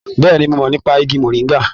Bẹ́ẹ̀ni, mo mọ̀ nípa igi mọ̀ríngà